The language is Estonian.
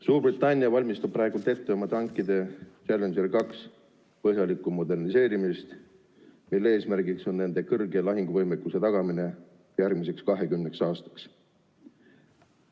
Suurbritannia valmistab praegu ette oma tankide Challenger 2 põhjalikku moderniseerimist, mille eesmärk on nende suure lahinguvõimekuse tagamine järgmiseks 20 aastaks.